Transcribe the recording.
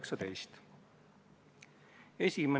Kordan üle: otsus oli konsensuslik.